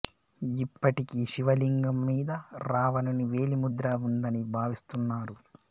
ఇప్పటికీ శివలింగం మీద రావణుని వేలి ముద్ర ఉందని భావిస్తున్నారు